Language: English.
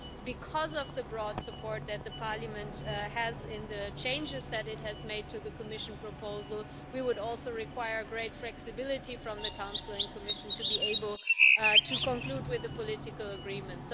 Because of the broad support that Parliament has in the changes that it has made to the Commission proposal, we would also require great flexibility from the Council and Commission to be able to conclude with a political agreement.